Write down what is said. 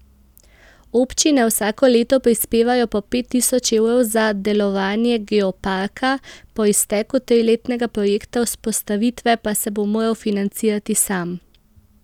Občine vsako leto prispevajo po pet tisoč evrov za delovanje geoparka, po izteku triletnega projekta vzpostavitve pa se bo moral financirati sam.